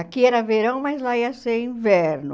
Aqui era verão, mas lá ia ser inverno.